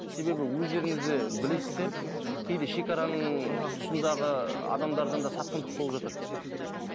себебі өздеріңіз де білесіздер кейде шегараның тұсындағы адамдардан да сатқындық болып жатады